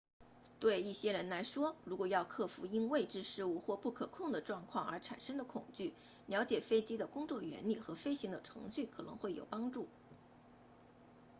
对一些人来说如果要克服因未知事物或不可控制的状况而产生的恐惧了解飞机的工作原理和飞行的程序可能会有帮助